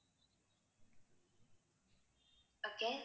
okay